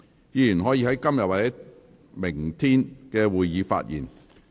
議員可在今天或明天的會議發言。